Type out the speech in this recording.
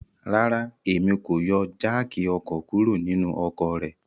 Rara, Emi ko yọ jááki ọkọ kuro ninu ọkọ rẹ